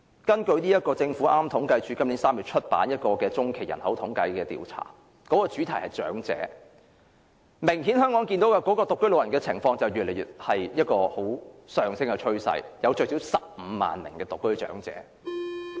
根據政府統計處今年3月發表的中期人口統計調查，主題是"長者"，明顯看到香港的獨居老人有上升趨勢，最少有15萬名獨居長者。